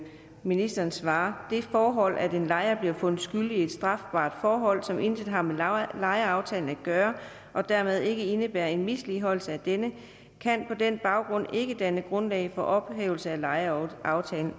ministeren svarer det forhold at en lejer bliver fundet skyldig i et strafbart forhold som intet har med lejeaftalen at gøre og dermed ikke indebærer en misligholdelse af denne kan på den baggrund ikke danne grundlag for en ophævelse af lejeaftalen